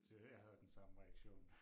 Det jeg havde den samme reaktion